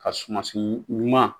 Ka sumasi ɲuman